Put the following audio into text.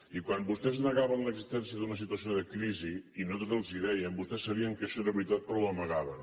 i quan vostès negaven l’existència d’una situació de crisi i nosaltres els ho dèiem vostès sabien que això era veritat però ho amagaven